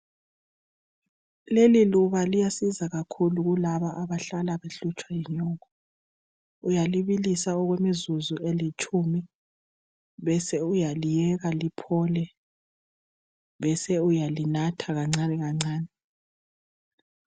Leli liyasiza kakhulu kulaba abahlala behlutshwa yinyongo uyalibisa okwemzuzu elitshumi bese uyaliyeka liphole bese uyalinatha kancane kancane.